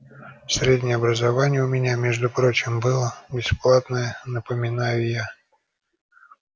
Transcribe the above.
среднее образование у меня между прочим было бесплатное напоминаю я